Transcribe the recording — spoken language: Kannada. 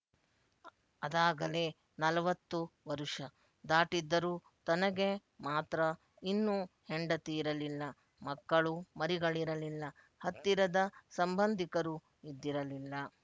ಅದಾಗಲೇ ನಾಲ್ವತ್ತು ವರುಷ ದಾಟಿದ್ದರೂ ತನಗೆ ಮಾತ್ರ ಇನ್ನೂ ಹೆಂಡತಿಯಿರಲಿಲ್ಲ ಮಕ್ಕಳು ಮರಿಗಳಿರಲಿಲ್ಲ ಹತ್ತಿರದ ಸಂಬಂಧಿಕರೂ ಇದ್ದಿರಲಿಲ್ಲ